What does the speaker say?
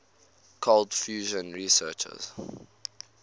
cold fusion researchers